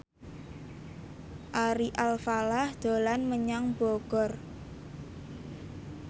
Ari Alfalah dolan menyang Bogor